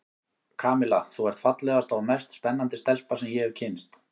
Kamilla, þú ert fallegasta og mest spennandi stelpa sem ég hef kynnst.